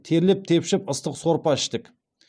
терлеп тепшіп ыстық сорпа іштік